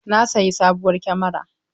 Na sayi sabuwar kamara.